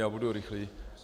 Já budu rychlý.